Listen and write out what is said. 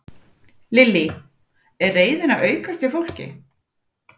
Lillý: Er reiðin að aukast hjá fólki?